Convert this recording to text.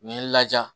N ye n laja